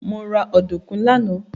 Mo ra ọ̀dùnkún lánàá.